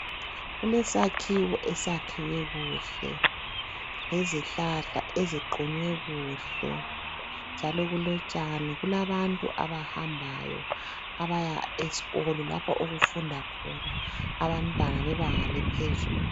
Kulesakhiwo esakhiwe kuhle, lezihlahla eziqunywe kuhle njalo kulotshani. Kulabantu abahambayo abaya esikolo lapho okufunda khona abantwana bebanga lephezulu.